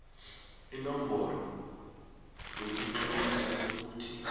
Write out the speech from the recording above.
inomboro yokutloliswa nayikuthi